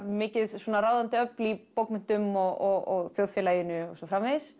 mikið ráðandi öfl í bókmenntum og þjóðfélaginu og svo framvegis